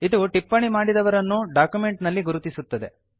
ಇದು ಟಿಪ್ಪಣಿ ಮಾಡಿದವರನ್ನು ಡಾಕ್ಯುಮೆಂಟ್ ನಲ್ಲಿ ಗುರುತಿಸುತ್ತದೆ